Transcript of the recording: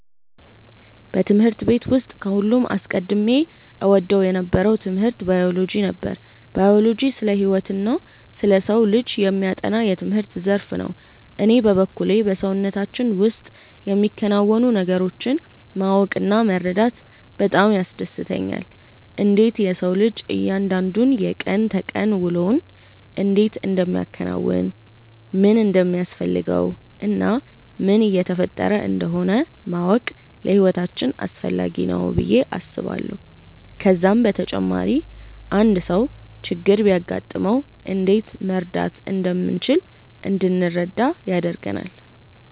በትምህርት ቤት ውስጥ ከሁሉም አስቀድሜ እወደው የነበረው ትምህርት ባዮሎጂ ነበር። ባዮሎጂ ስለ ህይወትና ስለ ሰው ልጅ የሚያጠና የትምህርት ዘርፍ ነው። እኔ በበኩሌ በሰውነታችን ውስጥ የሚከናወኑ ነገሮችን ማወቅ እና መረዳት በጣም ያስደስተኛል። እንዴት የሰው ልጅ እያንዳንዱ የቀን ተቀን ውሎውን እንዴት እንደሚያከናውን፣ ምን እንደሚያስፈልገው እና ምን እየተፈጠረ እንደሆነ ማወቅ ለህይወታችን አስፈላጊ ነው ብዬ አስባለሁ። ከዛም በተጨማሪ አንድ ሰው ችግር ቢያጋጥመው እንዴት መርዳት እንደምንችል እንድንረዳ ያደርጋል።